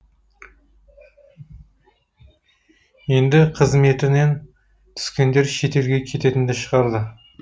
енді қызметінен түскендер шетелге кететінді шығарды